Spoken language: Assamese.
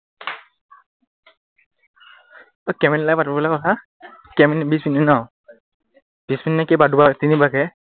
অই কেইমিনিট লাগে পাতিব লাগে কথা, কেইমিনিট বিশ মিনিট ন বিশ মিনিটকে কেইবাৰ দুবাৰ, তিনিবাৰকে